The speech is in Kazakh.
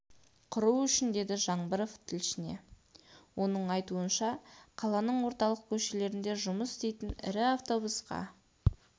құру үшін деді жаңбыров тілшісіне оның айтуынша қаланың орталық көшелерінде жұмыс істейтін ірі автобусқа